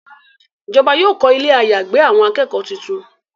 Ìjọba yóò kọ Ilé àyágbé àwọn akẹ́kọ̀ọ́ títún.